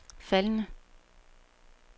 faldende